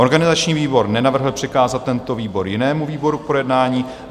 Organizační výbor nenavrhl přikázat tento výbor jinému výboru k projednání.